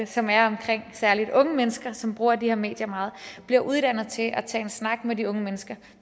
som er omkring særligt de unge mennesker som bruger de her medier meget bliver uddannet til at tage en snak med de unge mennesker